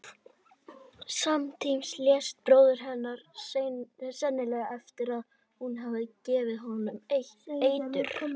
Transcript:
Samtímis lést bróðir hennar, sennilega eftir að hún hafði gefið honum eitur.